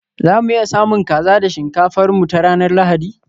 za mu iya samun kaza da shinkafar mu ta ranar Lahadi?